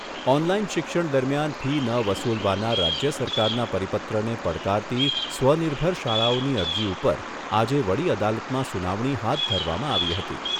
Online શિક્ષણ દરમિયાન fee ન વસુલવાના રાજ્ય સરકારના પરિપત્રને પડકારતી સ્વનિર્ભર શાળાઓની અરજી ઉપર આજે વડી અદાલતમાં સુનાવણી હાથ ધરવામાં આવી હતી.